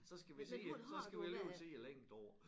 Så skal vi sige så skal vi alligevel sidde længe deroppe